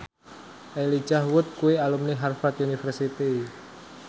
Elijah Wood kuwi alumni Harvard university